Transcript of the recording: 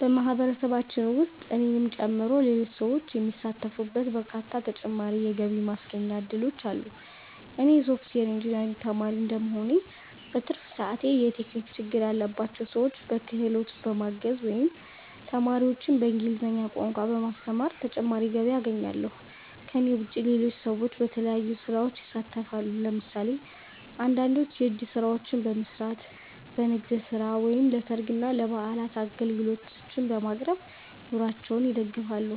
በማህበረሰባችን ውስጥ እኔንም ጨምሮ ሌሎች ሰዎች የሚሳተፉባቸው በርካታ ተጨማሪ የገቢ ማስገኛ እድሎች አሉ። እኔ የሶፍትዌር ኢንጂነሪንግ ተማሪ እንደመሆኔ፣ በትርፍ ሰዓቴ የቴክኒክ ችግር ያለባቸውን ሰዎች በክህሎቴ በማገዝ ወይም ተማሪዎችን በእንግሊዝኛ ቋንቋ በማስተማር ተጨማሪ ገቢ አገኛለሁ። ከእኔ ውጭ ሌሎች ሰዎችም በተለያዩ ስራዎች ይሳተፋሉ። ለምሳሌ አንዳንዶች የእጅ ስራዎችን በመስራት፣ በንግድ ስራ ወይም ለሰርግና ለበዓላት አገልግሎቶችን በማቅረብ ኑሯቸውን ይደግፋሉ።